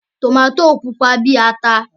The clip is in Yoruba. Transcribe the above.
Tòmátò pupa bí ata.